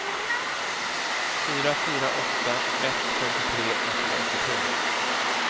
fyra fyra åtta ett femtiotre etthundraåttiotre